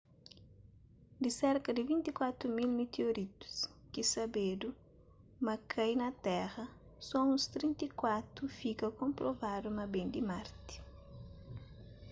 di serka di 24.000 mitioritus ki sabedu ma kai na téra so uns 34 fika konprovadu ma ben di marti